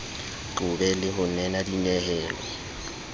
qobe le ho nena dinyehelo